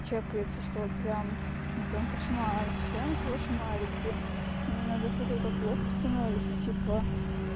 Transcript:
чекается что прямо ну прям кошмар прям кошмарики мне иногда сразу так плохо становится типа